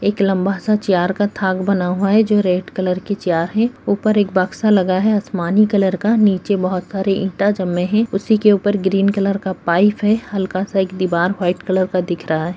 एक लम्बा सा चियार का थाक बना हुआ है जो रेड कलर की चियार है ऊपर एक बक्सा लगा है आसमानी कलर का निचे बहुत सारी ईटा जमे है उसी के ऊपर ग्रीन कलर का पाइप है हल्का सा एक दिवार व्हाइट कलर का दिख रहा है।